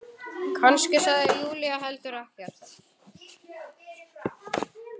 Kannski sagði Júlía heldur ekkert.